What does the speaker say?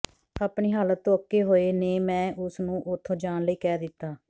ਆਪਣੀ ਹਾਲਤ ਤੋਂ ਅੱਕੇ ਹੋਏ ਨੇ ਮੈਂ ਉਸ ਨੂੰ ਉੱਥੋਂ ਜਾਣ ਲਈ ਕਹਿ ਦਿੱਤਾ